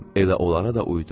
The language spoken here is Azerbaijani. Elə onlara da uyudum.